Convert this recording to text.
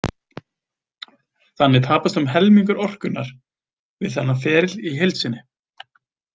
Þannig tapast um helmingur orkunnar við þennan feril í heild sinni.